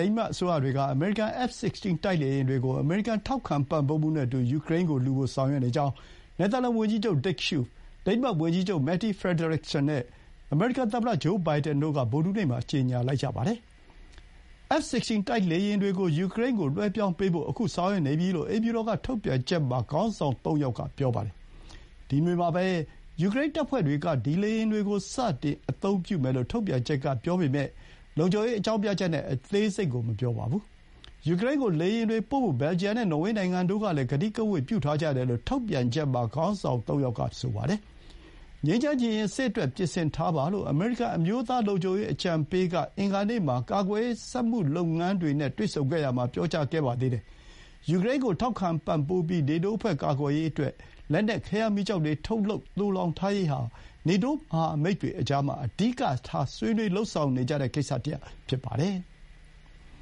ိန်းမတ်အစိုးရတွေက အမေရိကန် F-16 တိုက်လေယာဥ်တွေကို အမေရိကန်ထောက်ခံပံ့ပိုးမှုနဲ့အတူ ယူကရိန်းကိုလှူဖို့ ဆောင်ရွက်နေကြောင်း နယ်သာလန်ဝန်ကြီးချုပ် Dick Schoof ၊ ဒိန်းမတ်ဝန်ကြီးချုပ် Mette Frederiksen နဲ့ အမေရိကန်သမ္မတဂျိုးဘိုင်ဒန်တို့က ဗုဒ္ဓဟူးနေ့မှာ ကြေညာလိုက်ပါတယ်။ F 16 တိုက်လေယာဥ်တွေကို ယူကရိန်းဆီလွှဲပြောင်းပေးဖို့ အခု ဆောင်ရွက်နေပြီ လို့ အိမ်ဖြူတော်ထုတ်ပြန်ချက်မှာ ခေါင်းဆောင် ၃ ယောက်က ပြောပါတယ်။ ဒီနွေမှာပဲ ယူကရိန်းတပ်ဖွဲ့တွေက ဒီလေယာဥ်တွေကို စတင် အသုံးပြုမယ်လို့ ထုတ်ပြန်ချက်ကပြောပေမဲ့ လုံခြုံရေးကြောင့် အသေးစိတ်ကို မပြောပါဘူး။ ယူကရိန်းကို လေယာဥ်တွေပို့ဖို့ ဘယ်လ်ဂျီယံနဲ့ နော်ဝေးနိုင်ငံတို့ကလည်း ကတိကဝတ် ပြုထားကြတယ်လို့ ထုတ်ပြန်ချက်မှာ ခေါင်းဆောင်သုံးယောက်က ပြောပါတယ်။ "ငြိမ်းချမ်းချင်ရင် စစ်အတွက် ပြင်ဆင်ထားပါ" လို့ အမေရိကန်အမျိုးသားလုံခြုံရေးအကြံပေးက အင်္ဂါနေ့မှာ ကာကွယ်ရေး စက်မှုလုပ်ငန်းတွေနဲ့တွေ့ဆုံရာမှာ ပြောကြားခဲ့ပါတယ်။ ယူကရိန်းကို ထောက်ခံပံ့ပိုးပြီး နေတိုးအဖွဲ့ ကာကွယ်ရေးအတွက် လက်နက် ခဲယမ်းမီးကျောက်တွေထုတ်လုပ်ပြီး သိုလှောင်ထားရေးဟာ နေတိုး မဟာမိတ်တွေကြားမှာ အဓိကထား ဆွေးနွေးလုပ်ဆောင်နေကြတဲ့ ကိစ္စတရပ် ဖြစ်ပါတယ်။